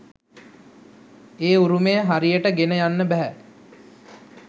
ඒ උරුමය හරියට ගෙන යන්න බැහැ.